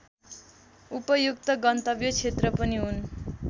उपयुक्त गन्तव्य क्षेत्र पनि हुन्